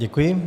Děkuji.